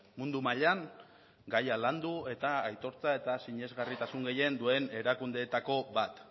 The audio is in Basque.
mundu mailan gaia landu eta aitortza eta sinesgarritasun gehien duen erakundeetako bat